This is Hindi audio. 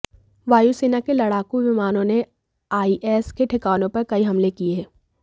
वायुसेना के लड़ाकू विमानों ने आईएस के ठिकानों पर कई हमले किए